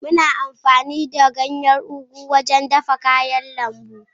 Muna amfani da ganyen ugu wajen dafa miyar kayan lambu.